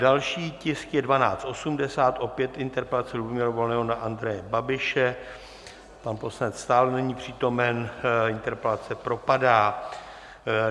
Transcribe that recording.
Další tisk je 1280, opět interpelace Lubomíra Volného na Andreje Babiše, pan poslanec stále není přítomen, interpelace propadá.